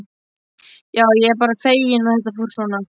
Já, ég er bara feginn að þetta fór svona.